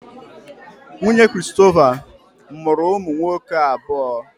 Nwunye Christopher mụrụ ụmụ nwoke abụọ.